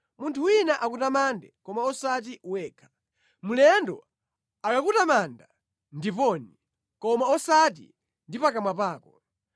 Munthu wina akutamande, koma osati wekha; mlendo akakutamanda, ndiponi koma osati ndi pakamwa pako.